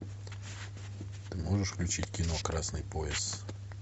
ты можешь включить кино красный пояс